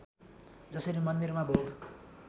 जसरी मन्दिरमा भोग